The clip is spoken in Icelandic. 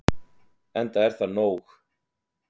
Enda er það nóg.